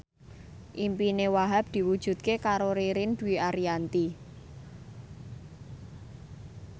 impine Wahhab diwujudke karo Ririn Dwi Ariyanti